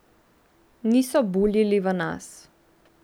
Niso buljili v nas.